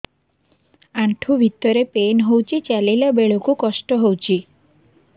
ଆଣ୍ଠୁ ଭିତରେ ପେନ୍ ହଉଚି ଚାଲିଲା ବେଳକୁ କଷ୍ଟ ହଉଚି